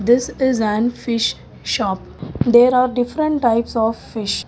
this is an fish shop there are different types of fish.